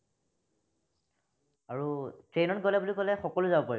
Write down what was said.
আৰু train ত গলে বুলি কলে সকলো যাব পাৰিব